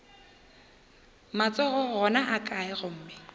matsogo ona a kae gomme